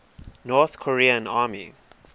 north korean army